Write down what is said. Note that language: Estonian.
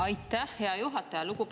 Aitäh, hea juhataja!